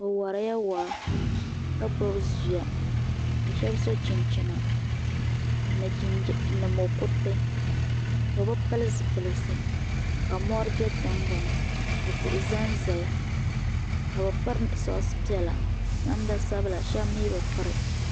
Bɛ warila waa ka gbibi zuya ka Sheba so chinchina ni mokuriti bɛ bi pili zipilsi ka mori be tingbani ka tihi zanzaya ka bɛ piri sokisi piɛla namda sabla Sheba mɛɛ bi piri.